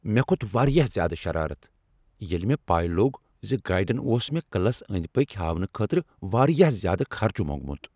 مےٚ کھوت واریاہ زیادٕ شرارت ییٚلہ مےٚ پَے لوٚگ ز گائیڈن اوس مےٚ قلعس أنٛدۍ پٔکۍ ہاونہٕ خٲطرٕ واریاہ زیادٕ خرچہ موٚنگمت۔